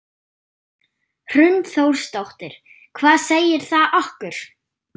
Hrund Þórsdóttir: Hvað segir það okkur?